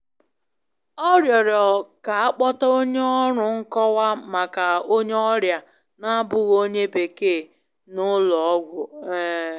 Ọ rịọrọ k'akpota onye ọrụ nkọwa maka onye ọrịa n'abụghị onye Bekee na ụlọ ọgwụ. um